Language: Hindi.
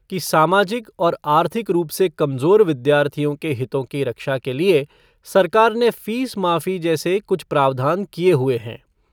कि सामाजिक और आर्थिक रूप से कमज़ोर विद्यार्थियों के हितों की रक्षा के लिए फ़ीस माफ़ी जैसे कुछ प्रावधान किए हुए हैं।